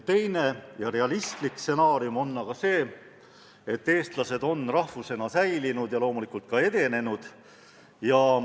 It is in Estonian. Teine, realistlik stsenaarium on selline, et eestlased on rahvusena säilinud ja loomulikult ka edenenud.